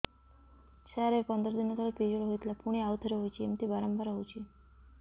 ସାର ଏବେ ପନ୍ଦର ଦିନ ତଳେ ପିରିଅଡ଼ ହୋଇଥିଲା ପୁଣି ଆଉଥରେ ହୋଇଛି ଏମିତି ବାରମ୍ବାର ହଉଛି